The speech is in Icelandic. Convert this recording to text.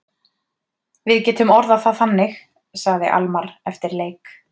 Við getum orðað það þannig, sagði Almarr eftir leik.